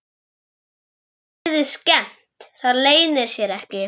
Henni virðist skemmt, það leynir sér ekki.